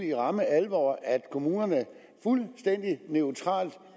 i ramme alvor at kommunerne fuldstændig neutralt